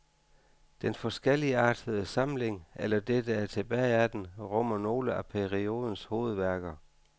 Den forskelligartede samling, eller det, der er tilbage af den, rummer nogle af periodens hovedværker.